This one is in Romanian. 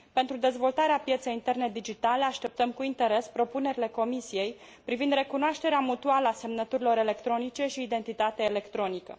Pentru dezvoltarea pieței interne digitale, așteptăm cu interes propunerile Comisiei privind recunoașterea mutuală a semnăturilor electronice și identitatea electronică.